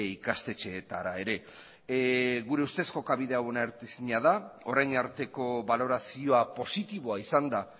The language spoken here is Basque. ikastetxeetara ere gure ustez jokabide hau onartezina da orain arteko balorazioa positiboa izan da